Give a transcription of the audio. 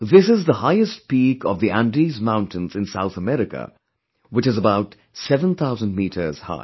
This is the highest peak of the Andes Mountains in South America, which is about 7000 meters high